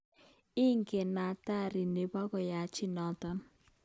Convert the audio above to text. Ingen athari nebo koyanchi noto